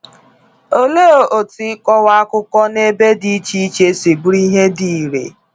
Olee otú ịkọwa akụkọ n’ebe dị iche iche si bụrụ ihe dị irè?